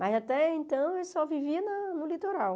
Mas até então eu só vivia na no litoral.